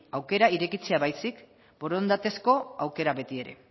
aukera irekitzea baizik borondatezko aukera beti ere